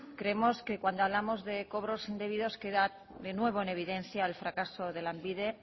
creemos que cuando hablamos de cobros indebidos queda de nuevo en evidencia el fracaso de lanbide